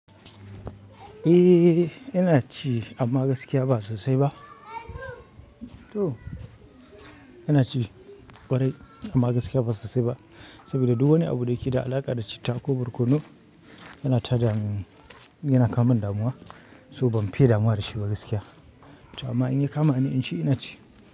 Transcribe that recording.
Eh, ina ci amma gaskiya ba sosai ba. To, ina ci ƙwarai amma gaskiya ba sosai ba saboda duk wani abu da ke da alaƙa da citta ko barkono yana ta damu, yana kawomu damuwa. To ban fiye damuwa da shi ba gaskiya amma in ya kama ni in ci, ina ci.